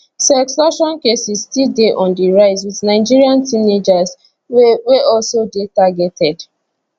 sextortion cases still dey on di rise wit nigerian teenagers wey wey also dey targeted